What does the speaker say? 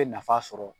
Bɛ nafa sɔrɔ